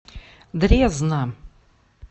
дрезна